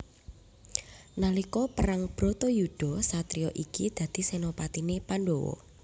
Nalika perang Bratayuda satriya iki dadi senopatiné Pandhawa